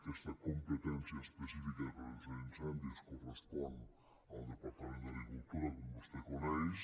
aquesta competència específica de pre·venció d’incendis correspon al departament d’agri·cultura com vostè coneix